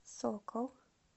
сокол